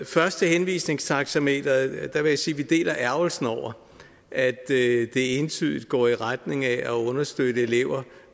først til henvisningstaxameteret jeg vil sige at vi deler ærgrelsen over at det entydigt går i retning af at understøtte elever